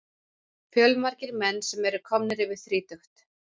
Fjölmargir menn sem eru komnir yfir þrítugt.